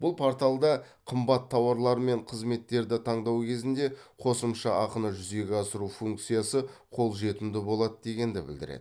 бұл порталда қымбат тауарлар мен қызметтерді таңдау кезінде қосымша ақыны жүзеге асыру функциясы қолжетімді болады дегенді білдіреді